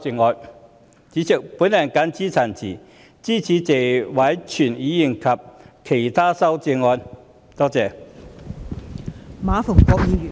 代理主席，我謹此陳辭，支持謝偉銓議員的原議案及其他議員的修正案。